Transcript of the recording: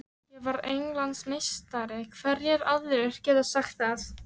Ég var Englandsmeistari, hverjir aðrir geta sagt það?